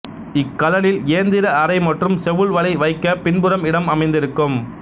இக்கலனில் இயந்திர அறை மற்றும் செவுள் வலை வைக்க பின்புறம் இடம் அமைந்திருக்கும்